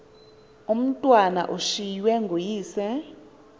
umatwana ushiywe nguyise